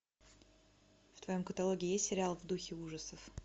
в твоем каталоге есть сериал в духе ужасов